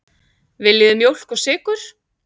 Viljið þið mjólk og sykur?